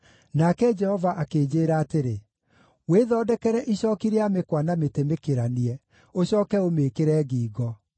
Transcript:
Nake Jehova akĩnjĩĩra atĩrĩ, “Wĩthondekere icooki rĩa mĩkwa na mĩtĩ mĩkĩranie, ũcooke ũmĩĩkĩre ngingo.